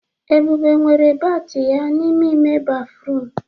Ebube nwere bat ya n'ime ime béfrụm.